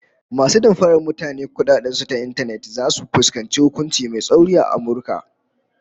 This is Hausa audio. Masu damfarar mutane kudaden su ta intanet zasu fuskanci hukunci mai tsauri a Amurka